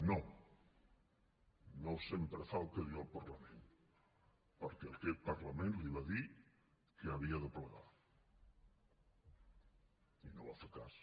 no no sempre fa el que diu el parlament perquè aquest parlament li va dir que havia de plegar i no en va fer cas